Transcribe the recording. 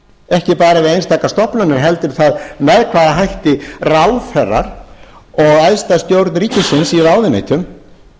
ekki bara við einstakar stofnanir heldur það með hvaða hætti ráðherrar og æðsta stjórn ríkisins í ráðuneytum